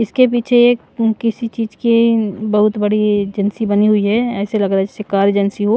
इसके पीछे एक किसी चीज की बहुत बड़ी एजेंसी बनी हुई है ऐसे लग रहा है जैसे कार एजेंसी हो--